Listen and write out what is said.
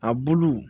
A bulu